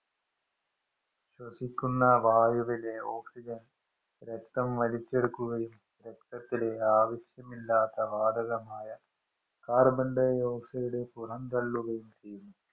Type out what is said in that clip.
ശ്വസിക്കുന്ന വായുവിലെ ഓക്സിജന്‍ രക്തം വലിച്ചെടുക്കുകയും, രക്തത്തിലെ ആവശ്യമില്ലാത്ത വാതകമായ കാര്‍ബണ്‍ഡയോക്‌സയിഡ് പുറന്തള്ളുകയും ചെയ്യുന്നു.